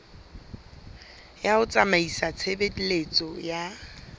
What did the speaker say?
ya ho tsamaisa tshebeletso ya